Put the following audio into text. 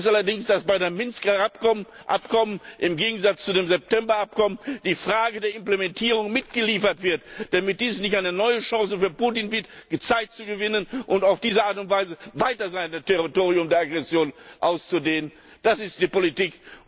Wichtig ist allerdings, dass bei dem Minsker Abkommen im Gegensatz zu dem September Abkommen die Frage der Implementierung mitgeliefert wird, damit dies nicht eine neue Chance für Putin wird, Zeit zu gewinnen und auf diese Art und Weise weiter sein Territorium der Aggression auszudehnen. Das ist die Politik.